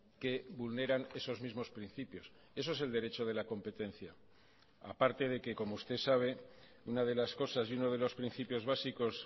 que vulneran esos mismos principios eso es el derecho de la competencia aparte de que como usted sabe una de las cosas y uno de los principios básicos